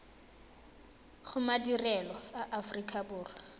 go madirelo a aforika borwa